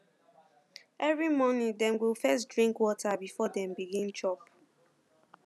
every morning dem go first drink water before dem begin chop